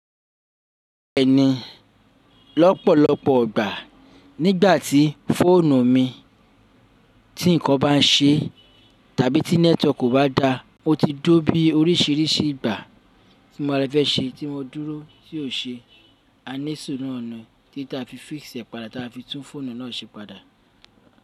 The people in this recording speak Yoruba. Ẹni lọ́pọ̀lọpọ̀ ìgbà nígbàtí fóònù mi tí nǹkan bá ṣe tàbí tí nẹ́tíwọ̀kì kò bá dáa, mo ti tó bí oríṣìíríṣìí ìgbà tí mo ra fẹ́ ṣe tí mo dúró tí ò ṣe é, a ní sùnú nànà tí ta fi físẹ̀ padà ta fi tún fóònù náà ṣe padà.